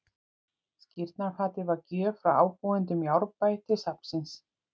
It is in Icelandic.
Skírnarfatið var gjöf frá ábúendum í Árbæ til safnsins.